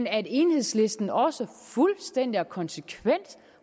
at enhedslisten også fuldstændig og konsekvent